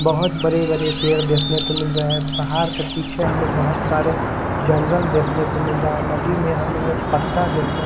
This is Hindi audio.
बहुत बड़े-बड़े पेड़ देखना तो मिल रहा है। पहाड़ के पीछे हमें बहुत सारे जंगल देखने को मिल रहा है। नदी में हमें पत्ता देखने--